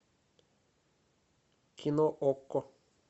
кино окко